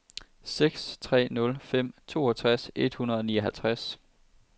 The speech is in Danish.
seks tre nul fem toogtres et hundrede og nioghalvtreds